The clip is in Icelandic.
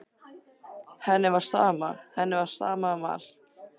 Henni var sama, henni var sama um allt.